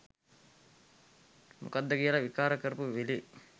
මොකක්ද කියලා විකාර කරපු වෙලේ